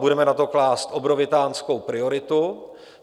Budeme na to klást obrovitánskou prioritu.